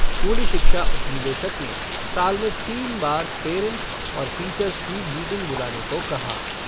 स्कूली शिक्षा उपनिदेशक ने साल में तीन बार पैरेंट्स और टीचर्स की मीटिंग बुलाने को कहा।